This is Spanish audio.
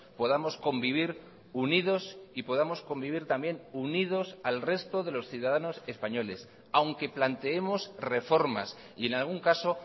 podamos convivir unidos y podamos convivir también unidos al resto de los ciudadanos españoles aunque planteemos reformas y en algún caso